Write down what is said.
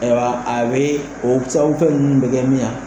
Ayiwa a bɛ o sababu fɛn ninnu bɛ kɛ min ye